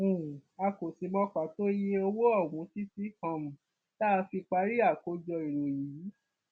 um a kò sì mọ pàtó iye owó ọhún títí um tá a fi parí àkójọ ìròyìn yìí